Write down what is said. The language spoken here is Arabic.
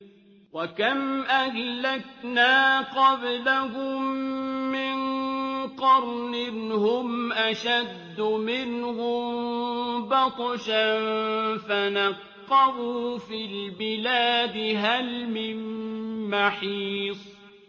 وَكَمْ أَهْلَكْنَا قَبْلَهُم مِّن قَرْنٍ هُمْ أَشَدُّ مِنْهُم بَطْشًا فَنَقَّبُوا فِي الْبِلَادِ هَلْ مِن مَّحِيصٍ